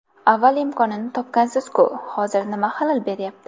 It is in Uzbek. Avval imkonini topgansiz-ku, hozir nima xalal beryapti?